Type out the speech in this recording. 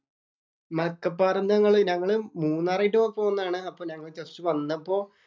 മലക്കപ്പാറേന്ന് ഞങ്ങള് ഞങ്ങള് മൂന്നാറായിട്ട് പോന്നതാണ്. അപ്പൊ ഞങ്ങള് ജസ്റ്റ് വന്നപ്പോ